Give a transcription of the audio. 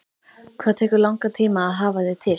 Hvað tekur langan tíma að hafa þig til?